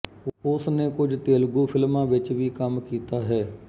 ਉਸਨੇ ਕੁਝ ਤੇਲਗੂ ਫਿਲਮਾਂ ਵਿੱਚ ਵੀ ਕੰਮ ਕੀਤਾ ਹੈ